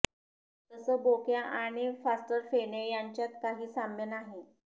तसं बोक्या आणि फास्टर फेणे यांच्यात काही साम्य नाही